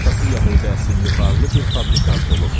Atası yəhudi əsilli varlı bir fabrikant olub.